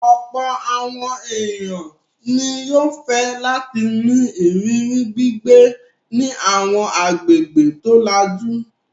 Ọ̀pọ̀ àwọn ènìyàn ni yóò fẹ́ láti ní ìrírí gbígbé ní àwọn agbègbè tó lajú.